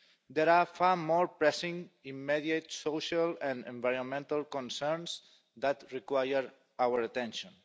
There are far more pressing, immediate social and environmental concerns that require our attention.